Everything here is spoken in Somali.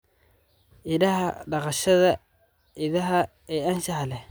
Idaha Dhaqashada idaha ee anshaxa leh.